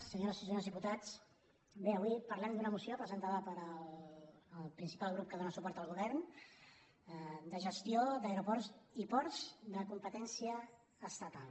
senyores i senyors diputats bé avui parlem d’una moció presentada pel principal grup que dóna suport al govern de gestió d’aeroports i ports de competència estatal